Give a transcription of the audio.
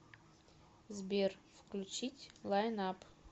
сбер включить лайн ап